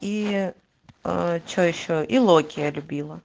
и че ещё и локи я любила